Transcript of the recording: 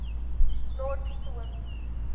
lord peter wimsey